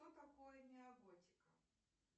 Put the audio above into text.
что такое неоготика